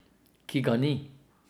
Ki ga ni.